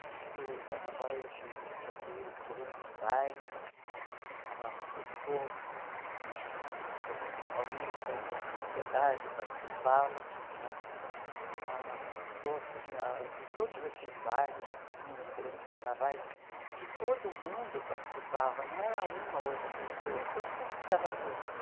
Na cultura do carnaval, eu digo sobre os grandes bailes, ah os cursos né, os cursos na Paulista, onde a sociedade participava né, ah os cursos na de todos esses bairros que tinha grandes carnavais, que todo mundo participava, não era uma ou outra pessoa, todo mundo estava junto.